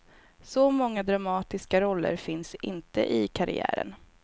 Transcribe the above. Så många dramatiska roller finns inte i karriären.